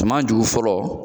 Jama jugu fɔlɔ